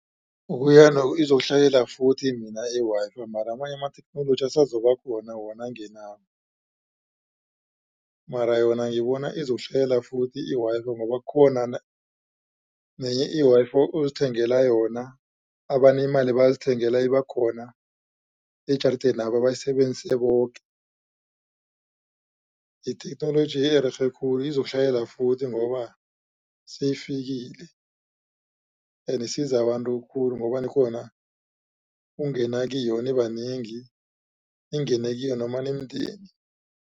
Ukuya nokuya izokuhlalela futhi mina i-Wi-Fi mara amanye amatheknoloji asazokubakhona wona angenako. Mara yona ngibona izokuhlalelafuthi i-Wi-Fi. Ngoba khona nenye i-Wi-Fi uzithengela yona abanemali bazithengela ibakhona ejaridena bayisebenzisa boke. Yitheknoloji ererhe khulu izokuhlalela futhi ngoba seyifikile ende isiza abantu khulu ngoba nikghona ukungena kiyo nibanengi ningene kiyo nimndeni.